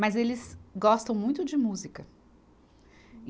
Mas eles gostam muito de música. e